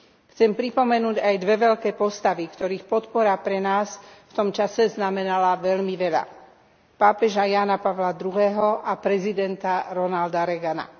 Chcem pripomenúť aj dve veľké postavy, ktorých podpora pre nás v tom čase znamenala veľmi veľa pápeža Jána Pavla II a prezidenta Ronalda Reagana.